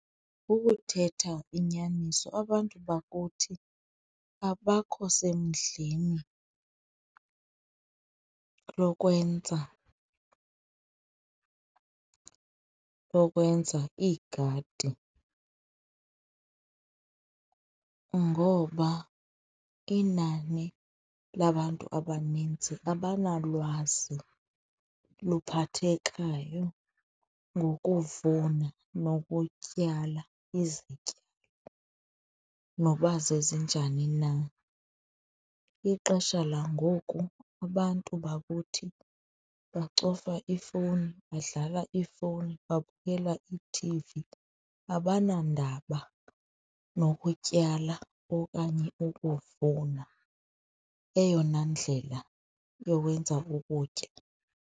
Ukuthetha inyaniso, abantu bakuthi abakho semdleni lokwenza, lokwenza iigadi ngoba inani labantu abaninzi abanalwazi luphathekayo ngokuvuna nokutyala izityalo noba zezi zinjani na. Ixesha langoku abantu bakuthi becofa iifowuni, badlala iifowuni, babukela iithivi. Abanandaba nokutyala okanye ukuvuna, eyona ndlela yokwenza ukutya.